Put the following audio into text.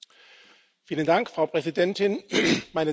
Frau Präsidentin, meine Damen und Herren!